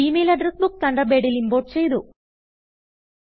G mail address book തണ്ടർബേഡിൽ import ചെയ്തു